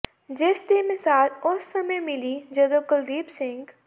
ਜਿਸ ਦੀ ਮਿਸਾਲ ਉਸ ਸਮੇਂ ਮਿਲੀ ਜਦੋਂ ਕੁਲਦੀਪ ਸਿੰਘ